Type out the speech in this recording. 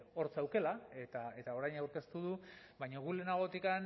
hor zuela eta orain aurkeztu du baina gu lehenagotik